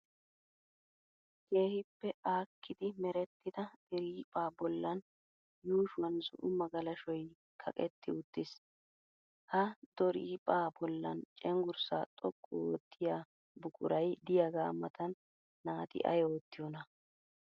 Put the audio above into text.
Keehippe aakkidi merettida doriphphaa bollan yuushuwan zo'o magalashoy kaqetti uttis. Ha doriphphaa bollan cenggurssa xoqqu oottiyaa buquray diyagaa matan naati ayi oottiyonaa?